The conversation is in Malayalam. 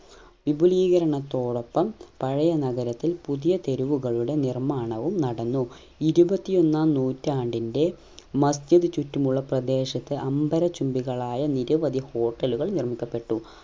വിപുലീകരണത്തോടൊപ്പം പഴയ നഗരത്തിൽ പുതിയ തെരുവുകളുടെ നിർമ്മാണവും നടന്നു ഇരുപത്തിയൊന്നാം നൂറ്റാണ്ടിന്റെ മസ്ജിദ് ചുറ്റുമുള്ള പ്രദേശത്തെ അമ്പര ചുംബികളായ നിരവധി hotel ഉകൾ നിർമ്മിക്കപ്പെട്ടു